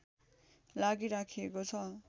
लागि राखिएको छ